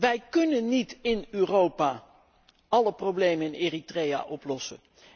Wij kunnen niet in Europa alle problemen in Eritrea oplossen.